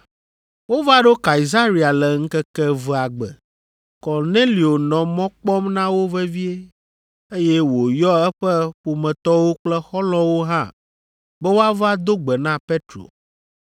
Wova ɖo Kaesarea le ŋkeke evea gbe. Kornelio nɔ mɔ kpɔm na wo vevie, eye wòyɔ eƒe ƒometɔwo kple xɔlɔ̃wo hã be woava do gbe na Petro.